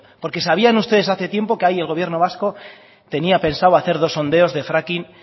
porque sabían ustedes hace tiempo que ahí el gobierno vasco tenía pensado hacer dos sondeos de fracking